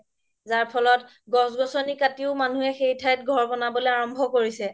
যাৰ ফলত গছ গছনি কাতিও মানুহে সেই ঠাই ঘৰ ব্নাবলৈও আৰাম্ভ্য কৰিছে